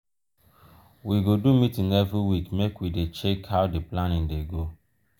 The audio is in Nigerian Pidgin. we go do meeting every week make we dey check how di planning dey go.